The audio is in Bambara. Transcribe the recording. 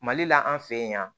Mali la an fe yan